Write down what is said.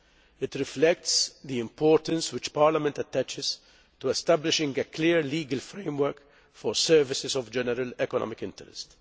It reflects the importance which Parliament attaches to establishing a clear legal framework for services of general economic interest.